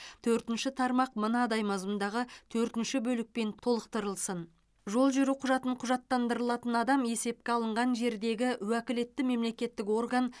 төртінші тармақ мынадай мазмұндағы төртінші бөлікпен толықтырылсын жол жүру құжатын құжаттандырылатын адам есепке алынған жердегі уәкілетті мемлекеттік орган